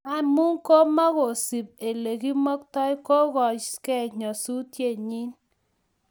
amu komagisuup olegimoktoi koyoyoskeei nyasusiet nin kiec